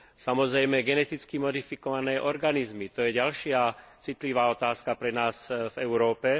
Samozrejme takisto geneticky modifikované organizmy to je ďalšia citlivá otázka pre nás v Európe.